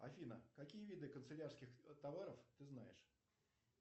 афина какие виды канцелярских товаров ты знаешь